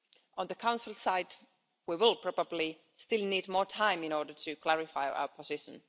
On the Council side, we will probably still need more time in order to clarify our position.